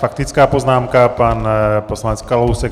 Faktická poznámka - pan poslanec Kalousek.